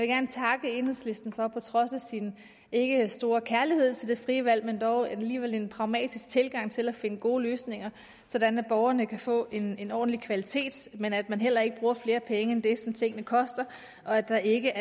gerne takke enhedslisten for på trods af sin ikke store kærlighed til det frie valg dog alligevel at have en pragmatisk tilgang til at finde gode løsninger sådan at borgerne kan få en en ordentlig kvalitet men at man heller ikke bruger flere penge end det som tingene koster og at der ikke